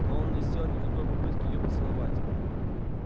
но он не сделал никакой попытки её поцеловать